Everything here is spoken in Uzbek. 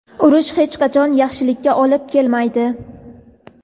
urush hech qachon yaxshilikka olib kelmaydi.